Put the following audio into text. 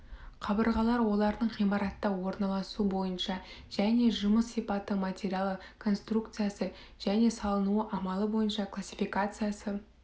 қабырғалар олардың ғимаратта орналасуы бойынша және жұмыс сипаты материалы конструкциясы және салынуы амалы бойынша классификациясы